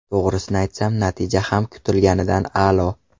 To‘g‘risini aytsam, natija ham kutilganidan a’lo.